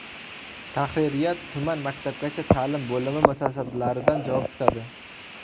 Tahririyat tuman maktabgacha ta’lim bo‘limi mutasaddilaridan javob kutadi.